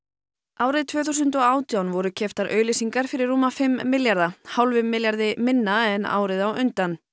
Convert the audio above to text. árið tvö þúsund og átján voru keyptar auglýsingar fyrir rúma fimm milljarða hálfum milljarði minna en árið á undan